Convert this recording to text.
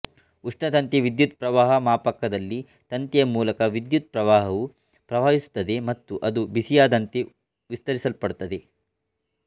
ಉಷ್ಣತಂತಿ ವಿದ್ಯುತ್ ಪ್ರವಾಹ ಮಾಪಕದಲ್ಲಿ ತಂತಿಯ ಮೂಲಕ ವಿದ್ಯುತ್ ಪ್ರವಾಹವು ಪ್ರವಹಿಸುತ್ತದೆ ಮತ್ತು ಅದು ಬಿಸಿಯಾದಂತೆ ವಿಸ್ತರಿಸಲ್ಪಡುತ್ತದೆ